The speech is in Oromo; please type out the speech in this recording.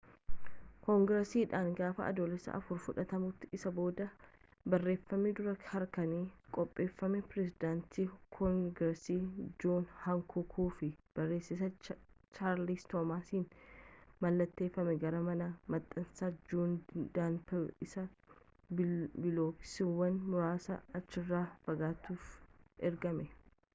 koongiresiidhaan gaafa adoolessa 4 fudhatamuu isaan booda barreeffami duraa harkaan qopheeffamee pirezidaantii koongireesii joon hankuukii fi barreessaa chaarlis toomsaniin mallatteeffame gara mana maxxansaa joon danlaap isa bilookiiwwan muraasa achirraa fagaatutti ergame